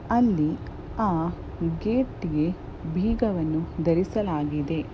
ಅಲ್ಲಿ ಆ ಗೆಟಿಗೆ ಬಿಗವನ್ನು ದರಿಸಲಾಗಿದೆ .